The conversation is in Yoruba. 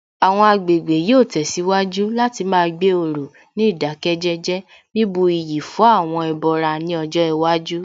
Àwọn agbègbè yóò tẹ̀síwájú láti má gbé òrò ní ìdákẹ́jẹ́jẹ́, bíbu iyì fún àwọn ẹbọra ní ọjọ́ iwájú